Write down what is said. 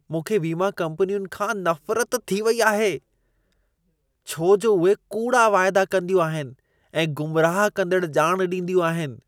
मूंखे वीमा कम्पनियुनि खां नफ़रत थी वेई आहे, छो जो उहे कूड़ा वाइदा कंदियूं आहिनि ऐं गुमराह कंदड़ ॼाण ॾींदियूं आहिनि।